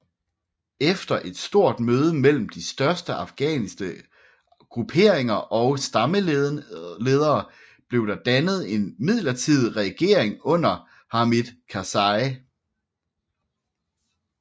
Efter et stort møde mellem de større afghanske grupperinger og stammeledere blev der dannet en midlertidig regering under Hamid Karzai